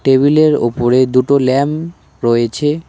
টেবিলের ওপরে দুটো ল্যাম রয়েছে।